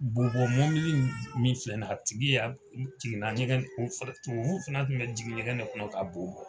Boo bɔn mɔbili min filɛ nin a tigi y'a jiginna ɲɛgɛn boo fɛlɛ tubabuw fɛnɛ kun be jigin ɲɛgɛn de kɔnɔ k'a boo bɔ